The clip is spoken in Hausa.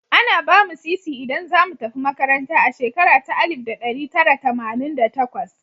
Ana ba mu Sisi idan za mu tafi makaranta a shekara ta Alif da ɗari Tara Tamanin da takwas.